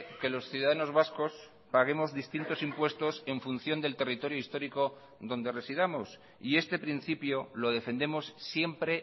que los ciudadanos vascos paguemos distintos impuestos en función del territorio histórico en donde residamos y este principio lo defendemos siempre